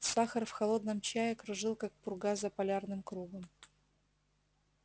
сахар в холодном чае кружил как пурга за полярным кругом